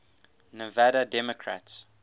nevada democrats